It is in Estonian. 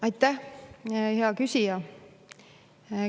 Aitäh, hea küsija!